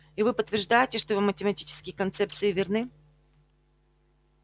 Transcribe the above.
и вы подтверждаете что его математические концепции верны